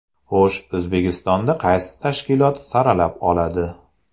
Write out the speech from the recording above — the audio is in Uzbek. Xo‘sh, O‘zbekistonda qaysi tashkilot saralab oladi?